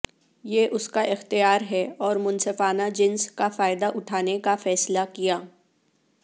یہ اس کا اختیار ہے اور منصفانہ جنس کا فائدہ اٹھانے کا فیصلہ کیا